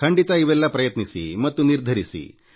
ಖಂಡಿತ ಇವೆಲ್ಲ ಪ್ರಯತ್ನಿಸಿ ಮತ್ತು ನಿರ್ಧರಿಸಿ